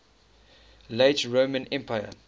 late roman empire